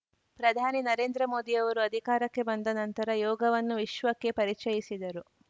ಪ್ರಧಾನಿ ನರೇಂದ್ರ ಮೋದಿಯವರು ಅಧಿಕಾರಕ್ಕೆ ಬಂದ ನಂತರ ಯೋಗವನ್ನು ವಿಶ್ವಕ್ಕೆ ಪರಿಚಯಿಸಿದರು